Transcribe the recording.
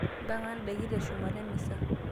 Mpanga ndaiki teshumata emisa.